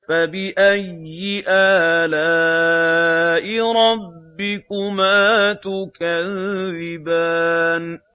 فَبِأَيِّ آلَاءِ رَبِّكُمَا تُكَذِّبَانِ